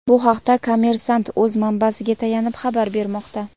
Bu haqda "Kommersant’" o‘z manbasiga tayanib xabar bermoqda.